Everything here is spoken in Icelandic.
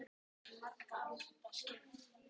Hver einasta æfing skiptir miklu máli